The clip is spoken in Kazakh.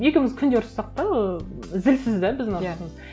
екеуіміз күнде ұрсыссақ та ыыы зілсіз де біздің ұрсысымыз